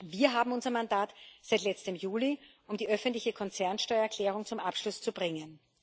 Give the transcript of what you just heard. Wir haben unser Mandat seit letztem Juli, um die öffentliche Konzernsteuererklärung zum Abschluss zu bringen.